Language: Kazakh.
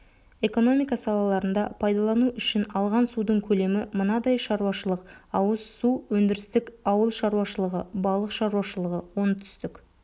экономика салаларында пайдалану үшін алған судың көлемі мынадай шаруашылық-ауыз су өндірістік ауыл шаруашылығы балық шаруашылығы оңтүстік